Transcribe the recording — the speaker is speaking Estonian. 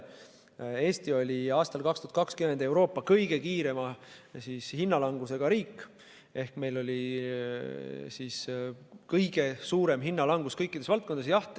Eesti oli aastal 2020 Euroopa kõige kiirema hinnalangusega riik ehk meil oli kõige suurem hinnalangus kõikides valdkondades.